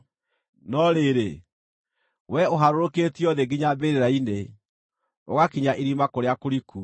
No rĩrĩ, wee ũharũrũkĩtio thĩ nginya mbĩrĩra-inĩ, ũgakinya irima kũrĩa kũriku.